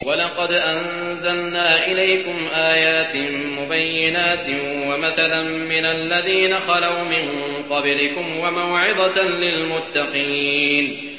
وَلَقَدْ أَنزَلْنَا إِلَيْكُمْ آيَاتٍ مُّبَيِّنَاتٍ وَمَثَلًا مِّنَ الَّذِينَ خَلَوْا مِن قَبْلِكُمْ وَمَوْعِظَةً لِّلْمُتَّقِينَ